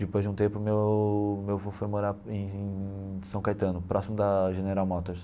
Depois de um tempo, meu meu avô foi morar em São Caetano, próximo da General Motors.